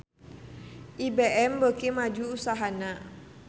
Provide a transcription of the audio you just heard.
IBM beuki maju usahana